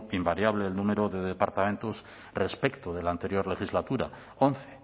invariable el número de departamentos respecto de la anterior legislatura once